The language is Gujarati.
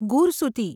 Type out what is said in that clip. ગુરસુતી